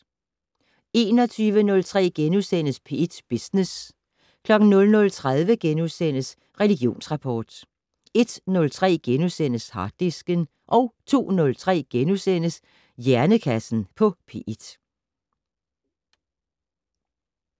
21:03: P1 Business * 00:30: Religionsrapport * 01:03: Harddisken * 02:03: Hjernekassen på P1 *